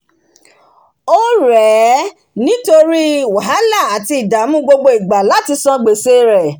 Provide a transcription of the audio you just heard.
órèé nítórí wàhálà àti ìdàmù gbogbo igbà láti san gbèse rè